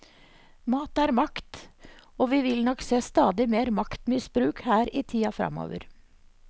Mat er makt, og vi vil nok se stadig mer maktmisbruk her i tida framover.